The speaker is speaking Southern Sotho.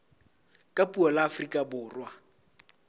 ka puo la afrika borwa